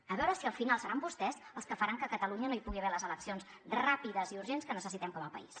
a veure si al final seran vostès els que faran que a catalunya no hi pugui haver les eleccions ràpides i urgents que necessitem com a país